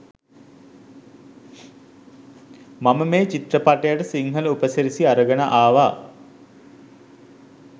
මම මේ චිත්‍රපටයට සිංහල උපසිරැසි අරගෙන ආවා.